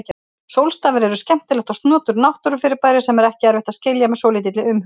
Sólstafir eru skemmtilegt og snoturt náttúrufyrirbæri sem er ekki erfitt að skilja með svolítilli umhugsun.